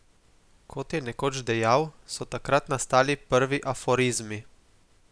Kot je nekoč dejal, so takrat nastali prvi aforizmi.